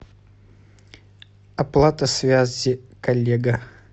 оплата связи коллега